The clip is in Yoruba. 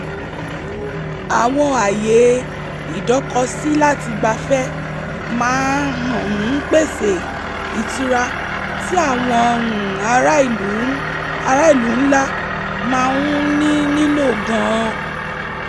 àwọn ààyè idókosílátigbafẹ́ maa um ń pèsè ìtura tí àwọn um ará ìlú ńlá máa ń ní nílò gan-an